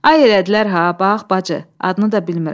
Ay elədilər ha, bax bacı, adını da bilmirəm.